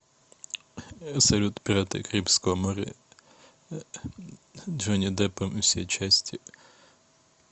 салют пираты карибского моря джонни деппом все части